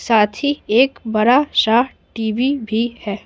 साथ ही एक बड़ा-सा टी_वी भी है।